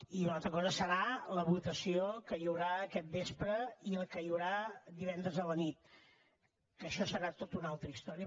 i una altra cosa serà la votació que hi haurà aquest vespre i la que hi haurà divendres a la nit que això serà tot una altra història